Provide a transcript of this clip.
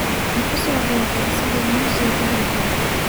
Makusoghadhatey asoko musika kudhaxjiro.